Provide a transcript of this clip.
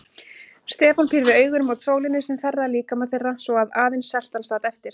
Stefán pírði augun mót sólinni sem þerraði líkama þeirra svo að aðeins seltan sat eftir.